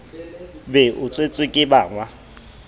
be o tshetswe ke bannga